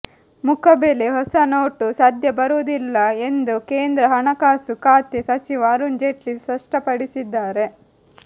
ಮುಖಬೆಲೆ ಹೊಸ ನೋಟು ಸದ್ಯ ಬರುವುದಿಲ್ಲ ಎಂದು ಕೇಂದ್ರ ಹಣಕಾಸು ಖಾತೆ ಸಚಿವ ಅರುಣ್ ಜೇಟ್ಲಿ ಸ್ಪಷ್ಟಪಡಿಸಿದ್ದಾರೆ